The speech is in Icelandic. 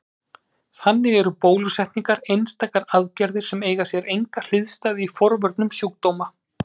Þannig eru bólusetningar einstakar aðgerðir sem eiga sér enga hliðstæðu í forvörnum sjúkdóma.